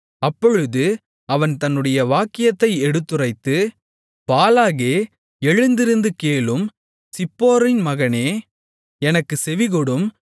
அப்பொழுது அவன் தன்னுடைய வாக்கியத்தை எடுத்துரைத்து பாலாகே எழுந்திருந்து கேளும் சிப்போரின் மகனே எனக்குச் செவிகொடும்